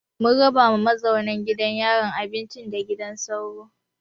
Mun raba ma mazauna gidan yarin abinci da gidan sauro.